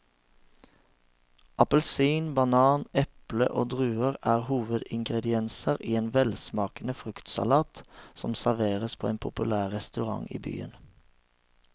Appelsin, banan, eple og druer er hovedingredienser i en velsmakende fruktsalat som serveres på en populær restaurant i byen.